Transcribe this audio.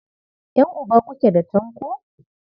Ƴan'uba kuke da Tanko?